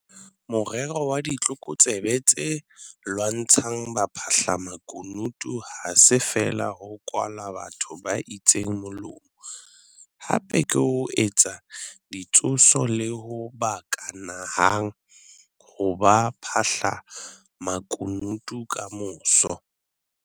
Morero wa ditlokotsebe tse lwantshang baphahlamaku nutu ha se feela ho kwala batho ba itseng molomo - hape ke ho etsa ditshoso le ho ba ka nahang ho ba baphahlamakunutu kamoso.